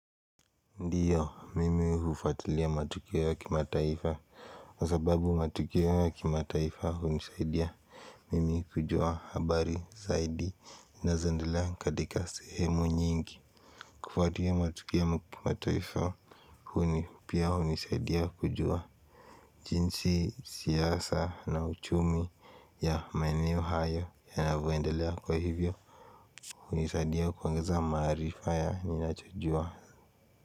Ndiyo mimi hufuatilia matukio ya kimataifa wa sababu matukio ya kimataifa hunisaidia mimi kujua habari zaidi zinazoendelea katika sehemu nyingi kufuatulia matukio ya kimataifa huni pia unisaidia kujua jinsi siasa na uchumi ya maeneo hayo yanavyoendelea kwa hivyo hunisaidia kuongeza maarifa ya ninachojua. Kwa hivyo.